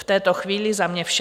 V této chvíli za mě vše.